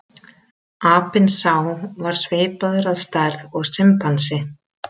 Apinn sá var svipaður að stærð og simpansi.